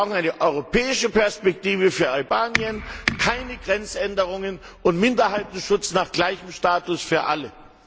Wir brauchen eine europäische Perspektive für Albanien, keine Grenzänderungen und Minderheitenschutz mit gleichem Status für alle.